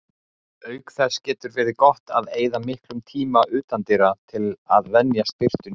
Auk þess getur verið gott að eyða miklum tíma utandyra til að venjast birtunni.